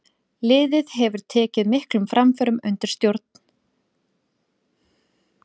Liðið hefur tekið miklum framförum undir hans stjórn.